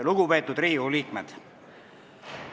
Lugupeetud Riigikogu liikmed!